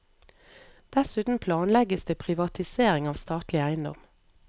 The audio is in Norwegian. Dessuten planlegges det privatisering av statlig eiendom.